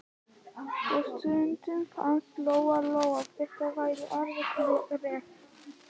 Og stundum fannst Lóu-Lóu þetta vera alveg rétt.